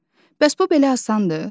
Bəs bu belə asandır?